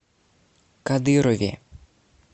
кадырове